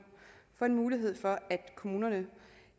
for en mulighed for at kommuner